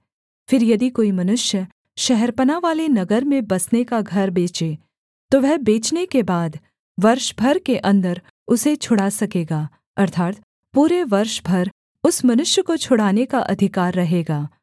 फिर यदि कोई मनुष्य शहरपनाह वाले नगर में बसने का घर बेचे तो वह बेचने के बाद वर्ष भर के अन्दर उसे छुड़ा सकेगा अर्थात् पूरे वर्ष भर उस मनुष्य को छुड़ाने का अधिकार रहेगा